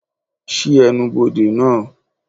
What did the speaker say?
ṣii ènubodè naa!